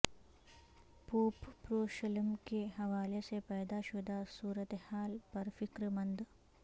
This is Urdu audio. پوپ یروشلم کے حوالے سے پیدا شدہ صورتحال پر فکر مند